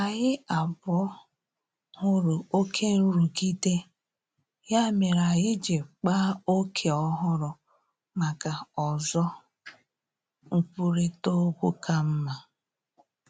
Anyị abụọ hụrụ oke nrụgide, ya mere anyị ji kpaa ókè ọhụrụ maka ozo nkwurịta okwu ka mma